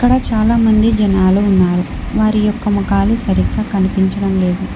ఇక్కడ చాలామంది జనాలు ఉన్నారు వారి యొక్క మగాళ్లు సరిగ్గా కనిపించడం లేదు.